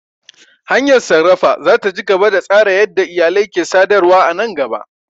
Hanyar sarrafa za ta ci gaba da tsara yadda iyalai ke sadarwa a nan gaba.